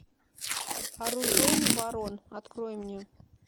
оружейный барон открой мне